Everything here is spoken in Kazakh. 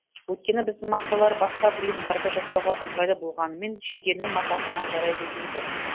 өйткені біздің мақталар басқа бұйымдарды жасауға ыңғайлы болғанымен жейденің матасына жарай бермейді